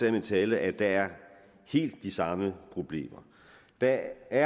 i min tale at der er helt de samme problemer der